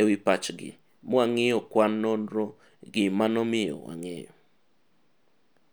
ewi pachgi mwang'iyo kwan nonro gi manomiyo wang'eyo. kuhusu mawazo yao na tukaangalia takwimu ili kujaribu kuelewa.